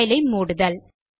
file ஐ மூடுதல்